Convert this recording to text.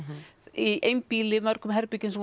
í einbýli í mörgum herbergjum sem